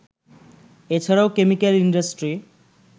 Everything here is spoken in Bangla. এ ছাড়াও কেমিক্যাল ইন্ডাস্ট্রি